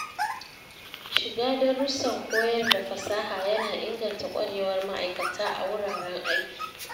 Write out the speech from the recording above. Shiga darussan koyar da fasaha ya na inganta ƙwarewar ma’aikata a wuraren aiki.